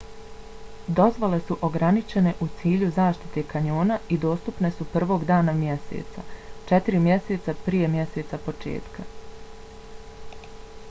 dozvole su ograničene u cilju zaštite kanjona i dostupne su 1. dana mjeseca četiri mjeseca prije mjeseca početka